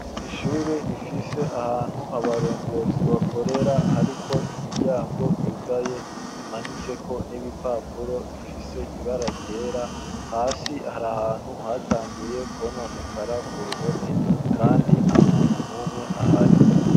Ishure, rifise ahantu, abarongozi bakorera, hariko imiryango, yugaye, imanitseko n'ibipapuro, bifise ibara ryera; hasi, hari ahantu, hatanguye kwononekara, ku ruhome; kandi, nta muntu n'umwe ahari.